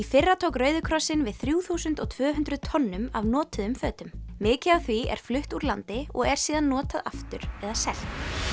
fyrra tók Rauði krossinn við þrjú þúsund og tvö hundruð tonnum af notuðum fötum mikið af því er flutt úr landi og er síðan notað aftur eða selt